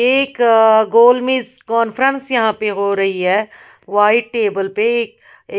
एक कॉनफेरेन्स यहाँ पे हो रही है व्हाइट टेबल पे